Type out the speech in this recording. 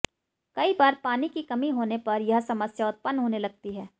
कई बार पानी की कमी होने पर यह समस्या उत्पन्न होने लगती है